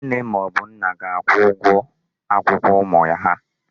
Nne ma o bu ga-akwụ ụgwọ akwụkwọ ụmụ ya.